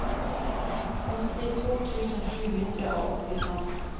åttito tusen sju hundre og åttifem